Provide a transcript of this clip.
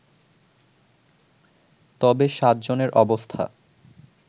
তবে সাতজনের অবস্থা